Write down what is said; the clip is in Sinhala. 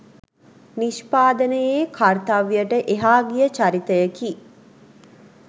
නිෂ්පාදනයේ කර්තව්‍යයට එහා ගිය චරිතයකි